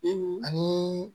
ani